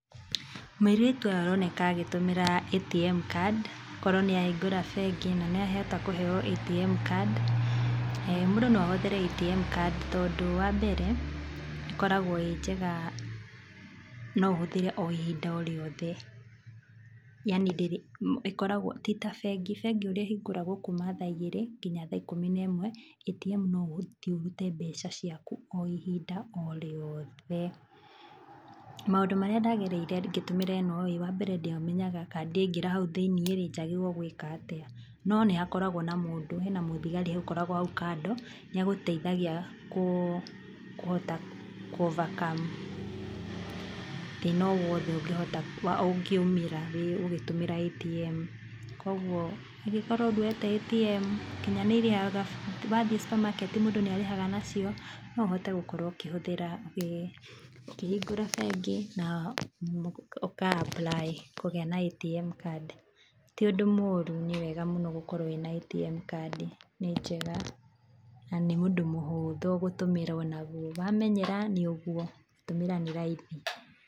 Mũirĩtu ũyũ aroneka agĩtũmĩra ATM card, korwo nĩahingũra bengi na nĩahota kũheo atm card. Mũndũ noahũthĩre atm card tondũ wa mbere ĩkoragwo ĩĩ njega noũhũthĩre o ihinda o rĩothe, yaani ndĩrĩ, ĩkoragwo, ti ta bengi, bengi ũria ĩhingũragwo kuuma thaa igĩrĩ nginya thaa ikũmi na ĩmwe atm no ũthiĩ ũrute mbeca ciaku o ihinda o rĩoothe. Maũndũ maria ndagereire ngĩtũmira ĩno-ĩĩ, wambere ndiamenyaga kana ndaingĩra hau thĩini-rĩ njagĩrĩirwo gwĩka atĩa no nĩ hakoragwo na mũndũ, hena mũthigari ũkoragwo hau kando nĩagũteithagia kũhota kũ overcome thĩĩna o wothe ũngĩhota, ũngiumĩra, ũgĩtũmĩra atm. Kwoguo ũngikorwo ndwoyete atm, nginya nĩirihaga, wathiĩ supermarket mũndũ nĩarĩhaga nacio noũhote gũkorwo ũkĩhũthira, ĩĩ. Ũkĩhingũra bengi na ũka apply kũgĩa na atm card. Ti ũndũ mũũru nĩwega mũno gũkorwo wĩna atm card, nĩ njega. Na nĩ ũndũ mũhũthũ gũtũmĩra o naguo, wamenyera nĩ ũguo, gũtũmĩra nĩ raithi.